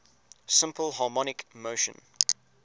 simple harmonic motion